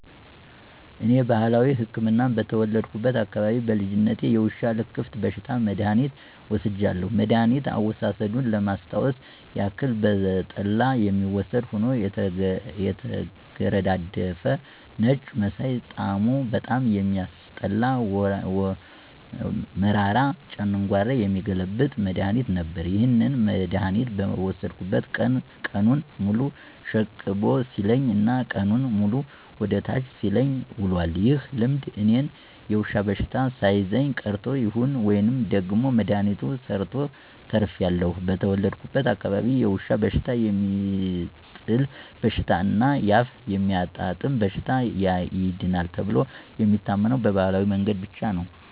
እኔ ባህላዊ ህክምና በተወለድኩበት አካባቢ በልጅነቴ የውሻ ልክፍት በሽታ መድሐኒት ወስጃለሁ። መድኋኒት አወሳሰዱን ለማስታወስ ያክል በጠላ የሚወሰድ ሆኖ የተገረዳደፈ ነጭ መሳይ ጣሙ በጣም የሚያስጠላ መራራ ጨንጓራ የሚገለብጥ መድሐኒት ነበር። ይህንን መድሐኒት በወሰድኩበት ቀን ቀኑን ሙሉ ሽቅብ ሲለኝ እና ቀኑንን ሙሉ ወደ ታች ሲለኝ ውሏል። ይህ ልምድ እኔን የዉሻ በሽተው ሳይዘኝ ቀርቶ ይሁን ወይም ደግሞ መድሐኒቱ ሰርቶ ተርፌአለሁ። በተወለድኩበት አካባቢ የውሻ በሽታ፣ የሚጥል በሽታ እና አፍ የሚያጣምም በሽታ ይድናል ተብሎ የሚታመነው በባህላዊ መንገድ ብቻ ነው።